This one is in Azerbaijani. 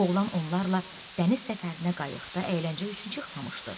Oğlan onlarla dəniz səfərinə qayıqda əyləncə üçün çıxmamışdı.